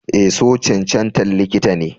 Eh, so cancantan likita ne.